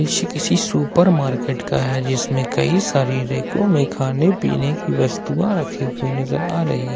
दृश्य किसी supermarket का है जिसमें कई सारी रैकों में खाने पीने की वस्तुएं रखी हुई नजर आ रही--